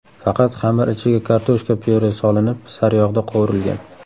Faqat xamir ichiga kartoshka pyure solinib, sariyog‘da qovurilgan.